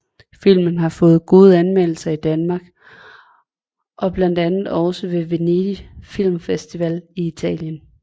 Filmen har fået gode anmeldelser i Danmark og blandt andet også ved Venedig Film Festival i Italien